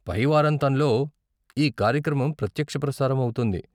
పై వారాంతంలో ఈ కార్యక్రమం ప్రత్యక్ష ప్రసారం అవుతుంది.